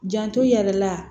Janto i yɛrɛ la